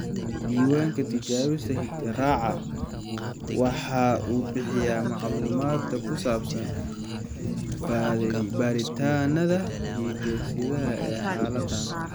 Diiwaanka Tijaabada Hidde-raaca (GTR) waxa uu bixiyaa macluumaadka ku saabsan baadhitaannada hidde-sidaha ee xaaladdan.